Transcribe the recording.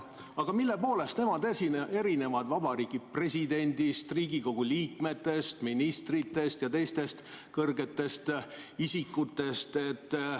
Aga mille poolest nemad erinevad Vabariigi Presidendist, Riigikogu liikmetest, ministritest ja teistest kõrgetest isikutest?